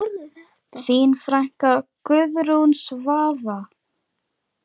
Þín frænka, Guðrún Svava.